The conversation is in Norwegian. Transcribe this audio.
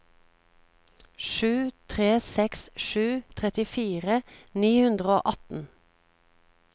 sju tre seks sju trettifire ni hundre og atten